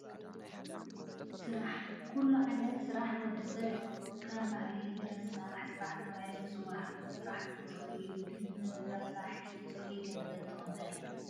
ስራሕ፡- ኩሉ ዓይነት ስራሕ ንወዲ ሰብ የኽብሮ፡፡ ከም ባህሊ ረሳሕ ስራሕ ተባሂሉ ዝፅዋዕ ስራሕቲ ፀጉሪ እዩ፡፡ ግን ብረሳሐ ኢድ ፅሩይ ገንዘብ ትቕበል፡፡